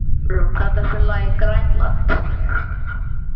Dalrún, kanntu að spila lagið „Grænland“?